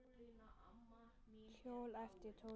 Hjól? æpti Tóti.